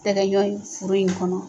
tɛ kɛ ɲɔn ye furu in kɔnɔ.